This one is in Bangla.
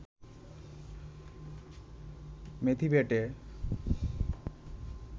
মেথি বেটে